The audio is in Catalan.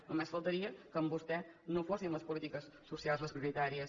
només faltaria que amb vostè no fossin les polítiques socials les prioritàries